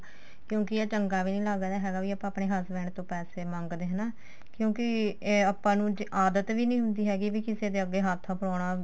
ਕਿਉਂਕਿ ਇਹ ਚੰਗਾ ਵੀ ਨਹੀਂ ਲੱਗਦਾ ਹੈਗਾ ਵੀ ਆਪਾਂ ਆਪਣੇ husband ਤੋਂ ਪੈਸੈ ਮੰਗਦੇ ਹਨਾ ਕਿਉਂਕਿ ਏ ਆਪਾਂ ਨੂੰ ਆਦਤ ਵੀ ਨੀ ਹੁੰਦੀ ਹੈਗੀ ਵੀ ਕਿਸੇ ਦੇ ਅੱਗੇ ਹੱਥ ਫੈਲਾਉਣਾ